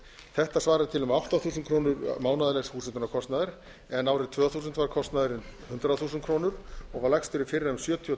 þetta svarar til um átta þúsund krónur mánaðarlegs húshitunarkostnaðar en árið tvö þúsund var kostnaðurinn hundrað þúsund krónur og var lægstur í fyrra um sjötíu